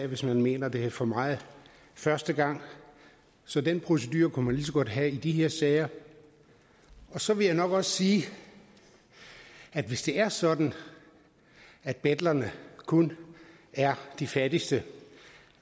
hvis man mener det er for meget første gang så den procedure kunne man lige så godt have i de her sager så vil jeg nok også sige at hvis det er sådan at betlerne kun er de fattigste